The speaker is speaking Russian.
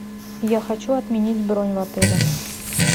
я хочу отменить бронь в отеле